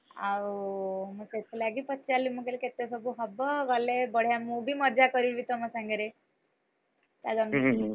ଆଉ ସେଥିଲାଗି ମୁଁ ପଚାରିଲି, ମୁଁ କହିଲି କେତେସବୁ ହବ? ଗଲେ, ବଢିଆ ମୁଁ ବି ମଜା କରିବି ତମ ସାଙ୍ଗରେ,